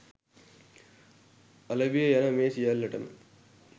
අලෙවිය යන මේ සියල්ලටම